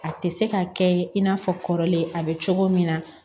A tɛ se ka kɛ i n'a fɔ kɔrɔlen a bɛ cogo min na